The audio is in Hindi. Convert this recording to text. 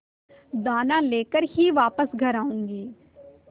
दाना लेकर ही वापस घर आऊँगी